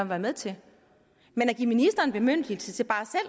være med til men at give ministeren bemyndigelse til bare